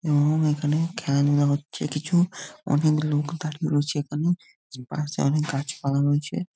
এবং এখানে খেলাধূলা হচ্ছে কিছু অনেক লোক দাঁড়িয়ে রয়েছে |এখানে পাশে অনেক গাছপালা রয়েছে ।